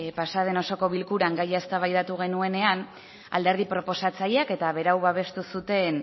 pasaden osoko bilkuran gaia eztabaidatu genuenean alderdi proposatzaileak eta berau babestu zuten